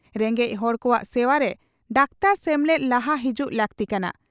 ᱨᱮᱸᱜᱮᱡ ᱦᱚᱲ ᱠᱚᱣᱟᱜ ᱥᱮᱵᱟᱨᱮ ᱰᱟᱠᱛᱟᱨ ᱥᱮᱢᱞᱮᱫ ᱞᱟᱦᱟ ᱦᱤᱡᱩᱜ ᱞᱟᱹᱠᱛᱤ ᱠᱟᱱᱟ ᱾